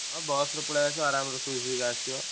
ହଁ ବସରେ ପଳେଇଆସ ଆରାମସେ ଶୋଇ ଶୋଇକା ଆସିବ।